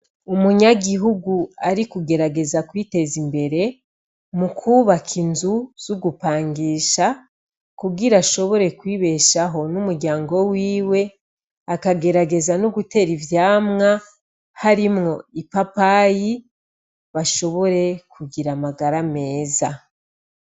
Umunyagihugu ari kugerageza kwiteza imbere mu kwubaka inzu z'ugupangisha kugira ashobore kwibeshaho n'umuryango wiwe , akagerageza no gutera ivyamwa harimwo ipapayi ng'ashobore kugira amagara meza.